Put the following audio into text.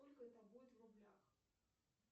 сколько это будет в рублях